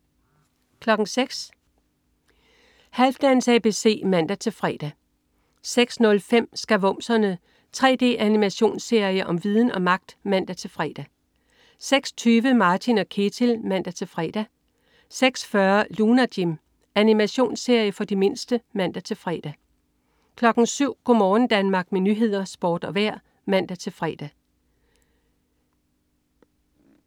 06.00 Halfdans ABC (man-fre) 06.05 Skavumserne. 3D-animationsserie om viden og magt! (man-fre) 06.20 Martin & Ketil (man-fre) 06.40 Lunar Jim. Animationsserie for de mindste (man-fre) 07.00 Go' morgen Danmark med nyheder, sport og vejr (man-fre) 07.00 Nyhederne og Sporten (man-fre)